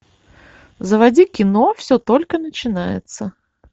заводи кино все только начинается